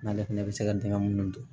N'ale fana bɛ se ka dingɛ minnu don